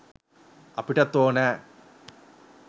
අපිටත් ඕනා